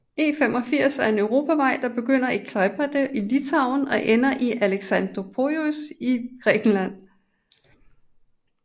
E85 er en europavej der begynder i Klaipėda i Litauen og ender i Alexandroupolis i Grækenland